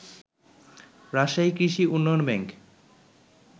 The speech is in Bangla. রাজশাহী কৃষি উন্নয়ন ব্যাংক